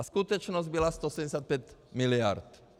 A skutečnost byla 165 mld.